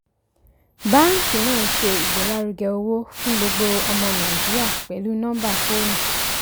báàǹkì náà ń ṣe ìgbélárugẹ owó fún gbogbo ọmọ nàìjíríà pẹlú nọmbà fóònù.